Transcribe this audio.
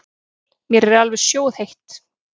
Mér er alveg sjóðheitt.